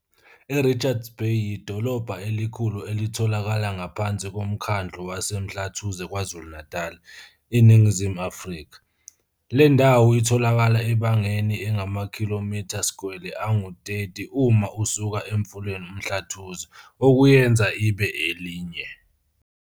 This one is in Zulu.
I-Richards Bay, Afrikaans, yidolobha elikhulu elitholakala ngaphansi koMkhandlu waseMhlathuze KwaZulu-Natal, INingizimu Afrika. Le ndawo itholakala ebangeni engamakhilomitha-skwele angu-30 uma usuka emfuleni uMhlathuze, okuyenza ibe elinye.